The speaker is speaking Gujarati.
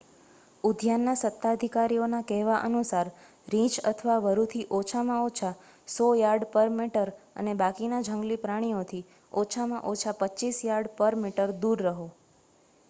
ઉદ્યાનના સત્તાધિકારીઓના કહેવા અનુસાર રીંછ તથા વરૂથી ઓછામાં ઓછા 100 યાર્ડ/મીટર અને બાકીના જંગલી પ્રાણીઓથી ઓછામાં ઓછા 25 યાર્ડ/મીટર દૂર રહો!